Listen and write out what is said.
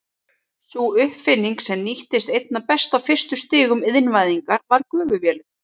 Sú uppfinning sem nýttist einna best á fyrstu stigum iðnvæðingar var gufuvélin.